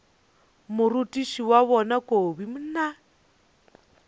morutiši wa bona kobi mna